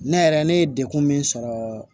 Ne yɛrɛ ne ye dekun min sɔrɔ